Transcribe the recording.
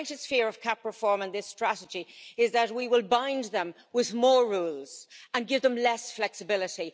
My greatest fear of CAP reform and this strategy is that we will bind them with more rules and give them less flexibility.